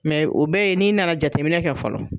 Mɛ u bɛ yen n'i nana jateminɛ kɛ fɔlɔ